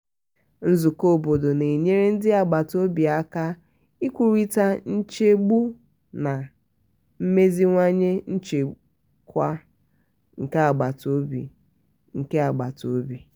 nzukọ obodo na-enyere ndị agbata obi aka ikwurịta nchegbu na imeziwanye nchekwa nke agbata obi. nke agbata obi.